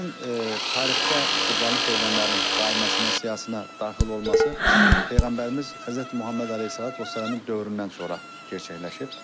Dəvənin tarixdə Qurbanlıq heyvanların qaiməsinə, siyahısına daxil olması Peyğəmbərimiz Həzrəti Məhəmməd Əleyhissalamın dövründən sonra gerçəkləşib.